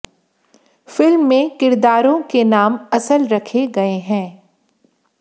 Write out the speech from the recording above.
film में किरदारों के नाम असल रखे गए हैं